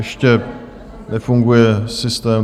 Ještě nefunguje systém?